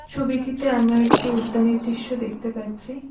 ছবিটিতে আমরা একটি উদ্যানের দৃশ্য দেখতে পাচ্ছি।